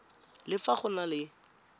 le fa go na le